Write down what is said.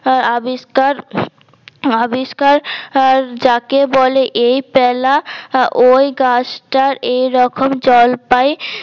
উম আবিস্কার আবিস্কার যাকে বলে এই প্যালা ওই গাছটার এই রকম জলপাই